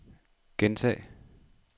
gentag